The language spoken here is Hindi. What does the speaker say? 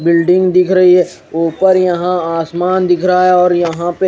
बिल्डिंग दिख रही है ऊपर यहां आसमान दिख रहा है और यहां पे--